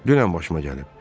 Dünən başıma gəlib.